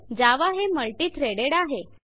जावा हे multi - threaded आहे